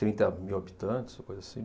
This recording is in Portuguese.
Trinta mil habitantes, coisa assim.